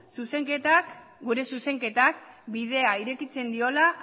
gure zuzenketak bidea irekitzen diola